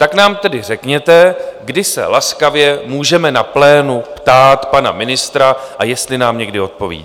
Tak nám tedy řekněte, kdy se laskavě můžeme na plénu ptát pana ministra, a jestli nám někdy odpoví.